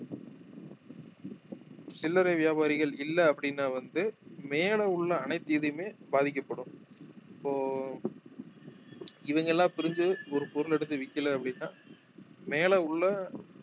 சில்லறை வியாபாரிகள் இல்லை அப்படின்னா வந்து மேலே உள்ள அனைத்து இதுமே பாதிக்கப்படும் இப்போ இவங்க எல்லாம் பிரிஞ்சு ஒரு பொருள் எடுத்து விக்கலை அப்படின்னா மேலே உள்ள